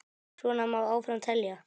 Svo má áfram telja.